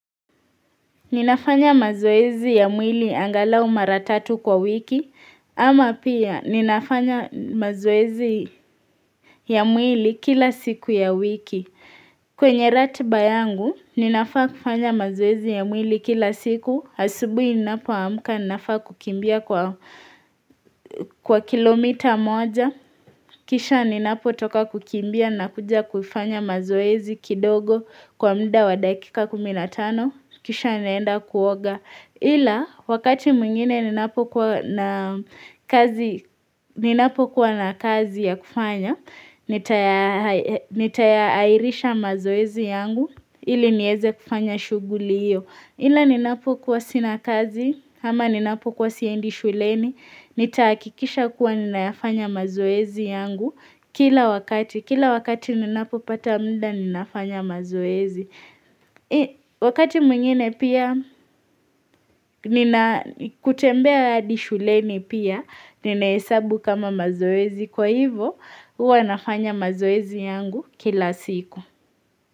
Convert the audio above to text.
Ninafanya mazoezi ya mwili angalau maratatu kwa wiki, ama pia ninafanya mazoezi ya mwili kila siku ya wiki. Kwenye ratiba yangu, ninafaa kufanya mazoezi ya mwili kila siku, asubui ninapo amka ninafaa kukimbia kwa kilomita moja. Kisha ninapo toka kukimbia na kuja kufanya mazoezi kidogo kwa mda wa dakika kumi na tano. Kisha nienda kuoga. Ila wakati mwingine ni napo kuwa na kazi ya kufanya. Nitayaairisha mazoezi yangu ili nieze kufanya shuguli iyo. Ila ni napo kuwa sina kazi ama ni napo kuwa siendi shuleni. Nitaakikisha kuwa ninafanya mazoezi yangu kila wakati. Kila wakati nina popata mda ninafanya mazoezi. Wakati mwingine pia nina kutembea hadi shuleni pia ninaesabu kama mazoezi. Kwa hivo huwa nafanya mazoezi yangu kila siku.